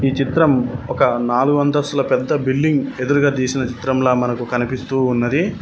ఈ చిత్రం ఒక నాలుగాంతస్తుల పెద్ద బిల్డింగ్ ఎదురుగా తీసిన చిత్రంలో మనకు కనిపిస్తూ ఉన్నది